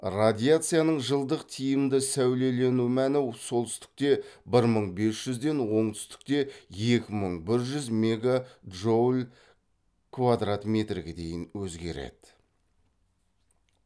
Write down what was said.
радиацияның жылдық тиімді сәулелену мәні солтүстікте бір мың без жүзден оңтүстікте екі мың бір жүз мегаджоуль квадрат метрге дейін өзгереді